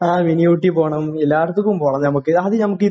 ആഹ്. Mini ഊട്ടിയിൽ പോണം. എല്ലായിടത്തും പോണം നമുക്ക്. നമുക്ക് നമുക്ക്